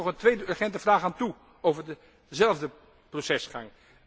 Daar voeg ik nog een tweede urgente vraag aan toe over dezelfde procesgang.